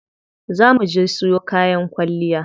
Za muje siyo kayan kwalliya.